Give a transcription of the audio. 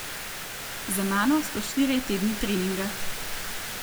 Za mano so štirje tedni treninga.